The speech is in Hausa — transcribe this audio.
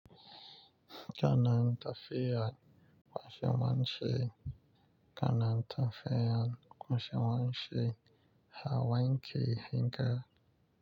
Ka na tafiya kwashe wanke, ka na tafiya kwashe wanke, ha wanke hinka.